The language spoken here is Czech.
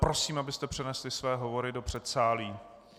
Prosím, abyste přenesli své hovory do předsálí.